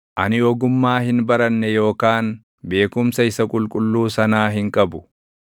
Ani ogummaa hin baranne yookaan beekumsa Isa Qulqulluu sanaa hin qabu.